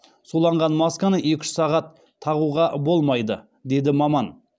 суланған масканы екі үш сағат тағуға болмайды деді маман